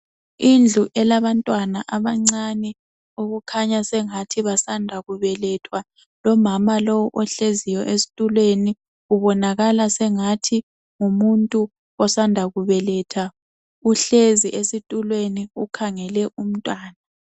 Indlu elabantwana abancane. Okukhanya sengathi basanda kubelethwa. Lomama lo ohlezi esitulweni. Ubonakala angathi ngumuntu osanda kubeletha. Uhlezi esitulweni, ukhangele umntwana.